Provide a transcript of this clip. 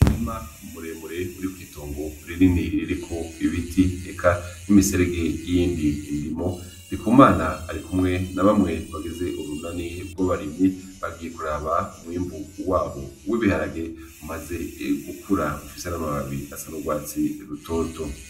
Umurima muremure uri kw'itongo rinini ririko ibiti, eka n'imiserege yiyindi ndimo. Ndikumana arikumwe n'abamwe bagize urunani rw'abarimyi bagiye kuraba umwimbu wabo w'ibiharage bimaze gukura bifise amababi asa n'urwatsi rutoto.